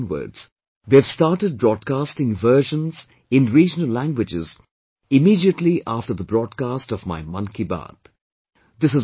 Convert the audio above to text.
Last month onwards, they have started broadcasting versions in regional languages, immediately after the broadcast of my 'Mann Ki Baat'